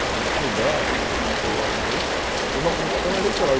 Se alguém souber direito o que foi o Watergate, foi uma corrupção eleitoral.